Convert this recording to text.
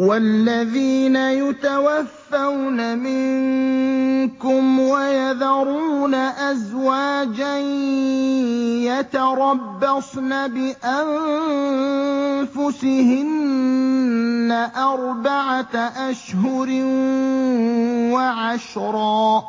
وَالَّذِينَ يُتَوَفَّوْنَ مِنكُمْ وَيَذَرُونَ أَزْوَاجًا يَتَرَبَّصْنَ بِأَنفُسِهِنَّ أَرْبَعَةَ أَشْهُرٍ وَعَشْرًا ۖ